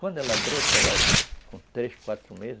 Quando ela brota, ela com três, quatro meses,